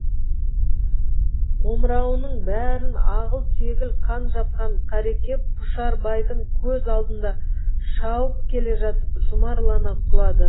омырауының бәрін ағыл тегіл қан жапқан қареке пұшарбайдың көз алдында шауып келе жатып жұмарлана құлады